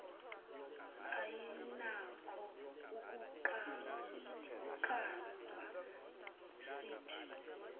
ayinakho ukunqandwa sithi